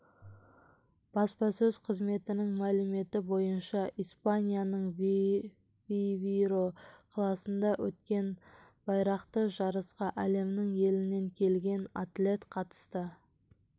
баспасөз қызметінің мәліметі бойынша испанияның вивейро қаласында өткен байрақты жарысқа әлемнің елінен келген атлет қатысты